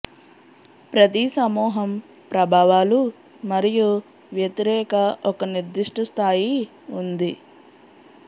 ప్రతి సమూహం ప్రభావాలు మరియు వ్యతిరేక ఒక నిర్దిష్ట స్థాయి ఉంది